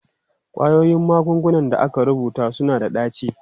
Ƙwayoyin magungunan da aka rubuta suna da ɗaci.